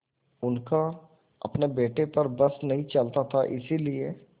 उनका अपने बेटे पर बस नहीं चलता था इसीलिए